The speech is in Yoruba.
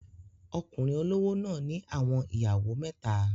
Okunrin olowo náà ni awọn iyawo meta